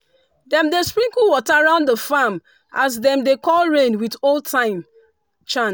dem dey sprinkle water round the farm as dem dey call rain with old-time chant.